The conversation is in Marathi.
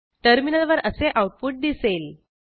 टर्मिनलवर असे आऊटपुट दिसेल